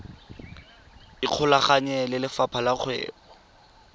ikgolaganye le lefapha la kgwebo